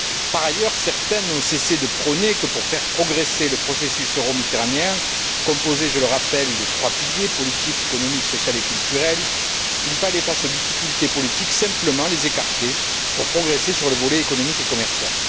Par ailleurs, certains n'ont cessé de prôner le fait que, pour faire progresser le processus euro méditerranéen composé, je le rappelle, des trois piliers politique, économique, social et culturel il fallait, face aux difficultés politiques, simplement les écarter pour progresser sur le volet économique et commercial.